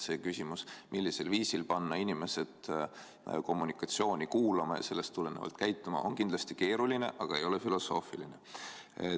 See küsimus, millisel viisil panna inimesed kommunikatsiooni kuulama ja sellest tulenevalt käituma, on kindlasti keeruline, aga ei ole filosoofiline.